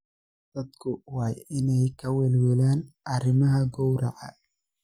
Dadku waa inay ka welwelaan arrimaha gowraca.